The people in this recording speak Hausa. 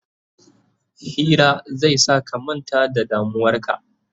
Hira zai sa ka manta da damuwarka